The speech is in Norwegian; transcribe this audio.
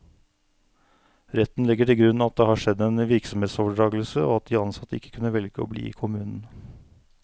Retten legger til grunn at det har skjedd en virksomhetsoverdragelse, og at de ansatte ikke kunne velge å bli i kommunen.